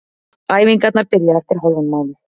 Æfingarnar byrja eftir hálfan mánuð.